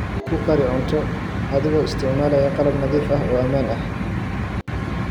Ku kari cunto adigoo isticmaalaya qalab nadiif ah oo ammaan ah.